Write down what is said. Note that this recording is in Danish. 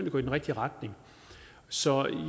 at gå i den rigtige retning så